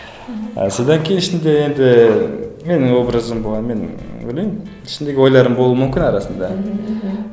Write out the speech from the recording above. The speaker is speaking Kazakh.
мхм содан кейін ішінде енді менің образым болғанымен ы ойлаймын ішіндегі ойларым болуы мүмкін арасында мхм